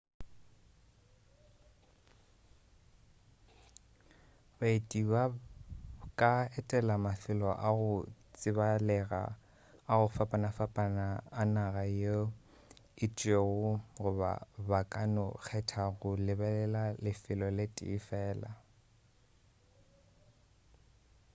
baeti ba ka etela mafelo a go tsebalega a go fapafapana a naga ye itšego goba ba ka no kgetha go lebelela lefelo le tee fela